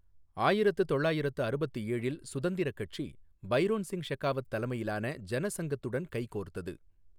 ஆயிரத்து தொள்ளயிரத்து அறுபத்து ஏழில் சுதந்திர கட்சி பைரோன் சிங் ஷெகாவத் தலைமையிலான ஜனசங்கத்துடன் கைகோர்த்தது.